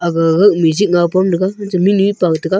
agagagah music ngaw pam taiga mihnue paw taiga.